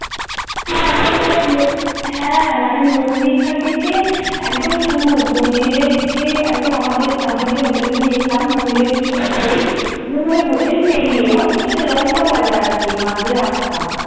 হ্যাঁ মানে মন্দিরটা থেকে একদম শুরু মন্দিরে থেকে একদম আমাদের আমরা যে hotel টা নিয়েছিলাম মন্দিরের কিছুটা পরেই বললো ওই hotel পেরিয়ে অনেকটা লম্বা বাজার আর কি মাঝে রাস্তা